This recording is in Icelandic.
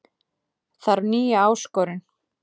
Þarf nýja áskorun